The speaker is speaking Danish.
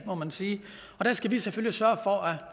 må man sige og der skal vi selvfølgelig sørge for at